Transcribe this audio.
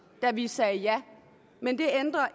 da vi sagde ja men det ændrer